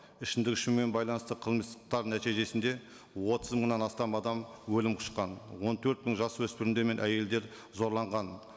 ішімдік ішумен байланысты қылмыстар нәтижесінде отыз мыңнан астам адам өлім құшқан он төрт мың жас өспірімдер мен әйелдер зорланған